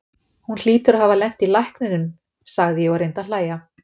Hún hlýtur að hafa lent í lækninum, sagði ég og reyndi að hlæja.